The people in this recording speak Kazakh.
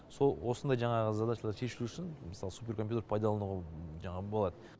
сол осындай жаңағы задачалар шешілу үшін мысалы суперкомпьютерді пайдалануға жаңағы болады